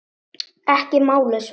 Ekki málið, svaraði hann.